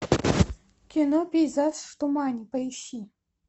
кино пейзаж в тумане поищи